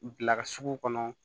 Bila ka sugu kɔnɔ